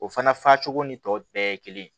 O fana fajugu ni tɔw bɛɛ ye kelen ye